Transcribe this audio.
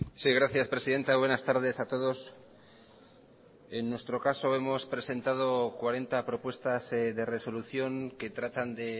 sí gracias presidenta buenas tardes a todos en nuestro caso hemos presentado cuarenta propuestas de resolución que tratan de